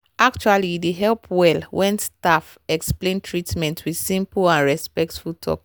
actually e dey help well when staff explain treatment with simple and respectful talk.